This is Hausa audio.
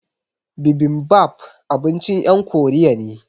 Bibimbap abincin yan Koriya ne